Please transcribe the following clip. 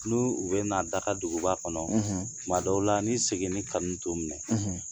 N 'u bɛ daga duguba kɔnɔ ; tuma dɔw la, ni seginl kanu t'o minɛ